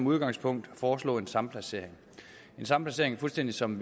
udgangspunktet foreslå en samplacering samplacering fuldstændig som